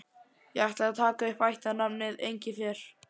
Ég ætla að taka upp ættarnafnið Engifer.